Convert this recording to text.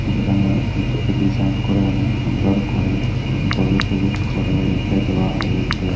যেখানে এটিকে ডিজাইন করে অনেক সুন্দর করে পলিশ ওলিশ করে রেখে দেওয়া হয়েছে।